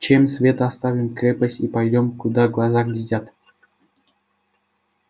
чем свет оставим крепость и пойдём куда глаза глядят